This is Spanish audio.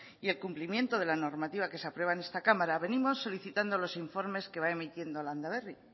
y el cumplimiento de la normativa que se aprueba en esta cámara venimos solicitando los informes que va emitiendo landaberri